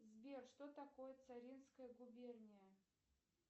сбер что такое царинская губерния